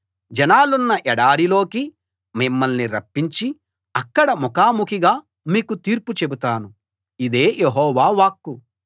జనాలున్న ఎడారిలోకి మిమ్మల్ని రప్పించి అక్కడ ముఖాముఖిగా మీకు తీర్పు చెబుతాను ఇదే యెహోవా వాక్కు